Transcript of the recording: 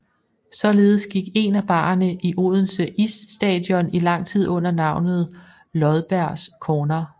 Således gik én af barerne i Odense Isstadion i lang tid under navnet Lodbergs Corner